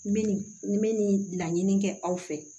Min nin bɛ nin laɲini kɛ aw fɛ